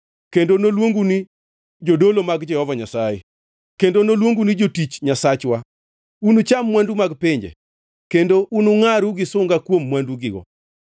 Kendo noluongu ni jodolo mag Jehova Nyasaye, kendo noluongu ni jotich Nyasachwa. Unucham mwandu mag pinje kendo unungʼaru gi sunga kuom mwandugigo.